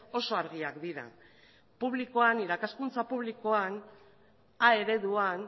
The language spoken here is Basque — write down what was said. oso argiak dira publikoan irakaskuntza publikoan a ereduan